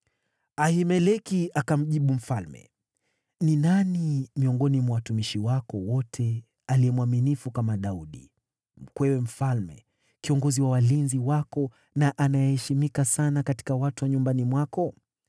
Ahimeleki akamjibu mfalme, “Ni nani miongoni mwa watumishi wako wote aliye mwaminifu kama Daudi, mkwewe mfalme, kiongozi wa walinzi wako na anayeheshimika sana katika watu wa nyumbani mwako?